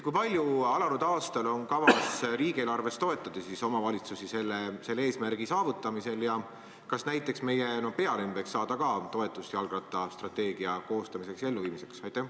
Kui palju alanud aastal on kavas riigieelarvest toetada omavalitsusi selle eesmärgi saavutamisel ja kas näiteks meie pealinn võiks ka saada toetust jalgrattastrateegia koostamiseks ja elluviimiseks?